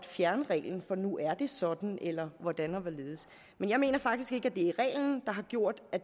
fjerne reglen for nu er det sådan eller hvordan og hvorledes men jeg mener faktisk ikke at det er reglen der har gjort at